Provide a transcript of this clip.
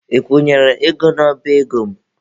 Ị kwụnyere ego n'ọba ego m?